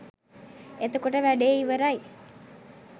එතකොට වැඩේ ඉවරයි.